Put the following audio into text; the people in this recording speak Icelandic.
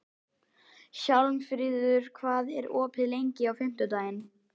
Hjálmfríður, hvað er opið lengi á fimmtudaginn?